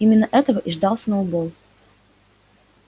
именно этого и ждал сноуболл